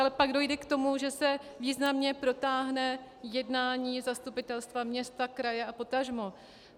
Ale pak dojde k tomu, že se významně protáhne jednání zastupitelstva města, kraje a potažmo.